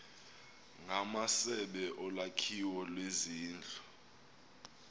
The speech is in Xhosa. ngamasebe olwakhiwo lwezindlu